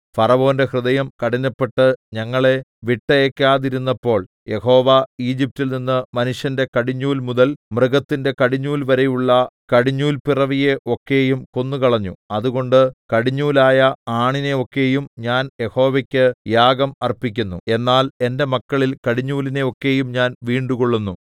ഫറവോന്റെ ഹൃദയം കഠിനപ്പെട്ട് ഞങ്ങളെ വിട്ടയയ്ക്കാതിരുന്നപ്പോൾ യഹോവ ഈജിപ്റ്റിൽ നിന്ന് മനുഷ്യന്റെ കടിഞ്ഞൂൽ മുതൽ മൃഗത്തിന്റെ കടിഞ്ഞൂൽവരെയുള്ള കടിഞ്ഞൂൽ പിറവിയെ ഒക്കെയും കൊന്നുകളഞ്ഞു അതുകൊണ്ട് കടിഞ്ഞൂലായ ആണിനെ ഒക്കെയും ഞാൻ യഹോവയ്ക്ക് യാഗം അർപ്പിക്കുന്നു എന്നാൽ എന്റെ മക്കളിൽ കടിഞ്ഞൂലിനെ ഒക്കെയും ഞാൻ വീണ്ടുകൊള്ളുന്നു